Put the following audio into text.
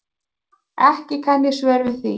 Ekki kann ég svör við því.